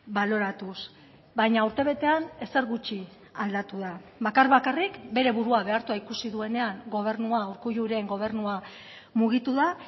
baloratuz baina urte betean ezer gutxi aldatu da bakar bakarrik bere burua behartua ikusi duenean gobernua urkulluren gobernua mugitu da